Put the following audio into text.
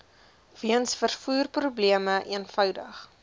weens vervoerprobleme eenvoudig